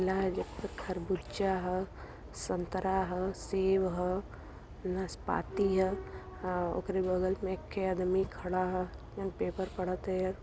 तरबुजा ह संतरा ह सेब ह नासपाती ह ओकरे बगल में एक्के आदमी खड़ा ह। जोवन पेपर पढ़त हइन।